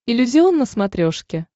иллюзион на смотрешке